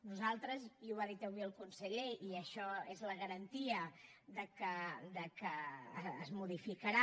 nosaltres i ho ha dit avui el conseller i això és la garantia que es modificarà